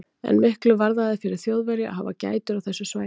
En miklu varðaði fyrir Þjóðverja að hafa gætur á þessu svæði.